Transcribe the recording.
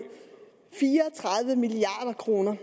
fire og tredive milliard kroner